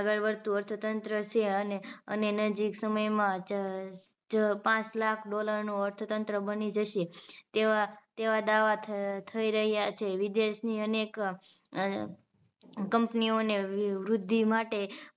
જ પાંચ લાખ dollar નું અર્થતંત્ર બની જશે તેવા તેવા દાવા થ થઈ રહ્યા છે વિદેશની અનેક company ઓને વૃદ્ધિ માટે